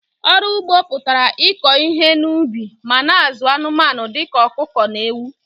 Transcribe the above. ọrụ ụgbọ pụtara ịkọ ihe ubi ma na- azụ anumanu dika ọkụkọ na ewu.